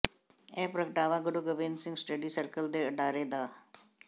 ਇਹ ਪ੍ਰਗਟਾਵਾ Guru Gobind Singh study circle ਦੇ ਅਦਾਰੇ ਡਾ